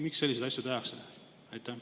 Miks selliseid asju tehakse?